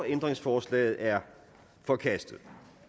ændringsforslaget er forkastet